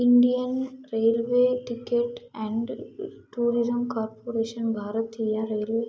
Indian railway ticket and tourism corporation ಬಾರತೀಯ railway --